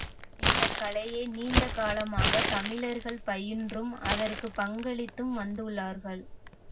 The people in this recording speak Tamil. இந்த கலையை நீண்ட காலமாக தமிழர்கள் பயின்றும் அதற்கு பங்களித்தும் வந்துள்ளார்கள்